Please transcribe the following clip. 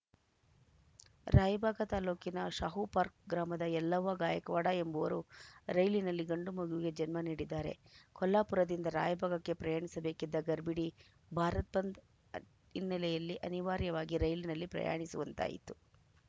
ರಾಯಬಾಗ ತಾಲೂಕಿನ ಶಾಹುಪಾರ್ಕ್ ಗ್ರಾಮದ ಯಲ್ಲವ್ವ ಗಾಯಕವಾಡ ಎಂಬವರು ರೈಲಿನಲ್ಲಿ ಗಂಡು ಮಗುವಿಗೆ ಜನ್ಮ ನೀಡಿದ್ದಾರೆ ಕೊಲ್ಹಾಪುರದಿಂದ ರಾಯಬಾಗಕ್ಕೆ ಪ್ರಯಾಣಿಸಬೇಕಿದ್ದ ಗರ್ಭಿಣಿ ಭಾರತ್‌ ಬಂದ್‌ ಹಿನ್ನೆಲೆಯಲ್ಲಿ ಅನಿವಾರ್ಯವಾಗಿ ರೈಲಿನಲ್ಲಿ ಪ್ರಯಾಣಿಸುವಂತಾಯಿತು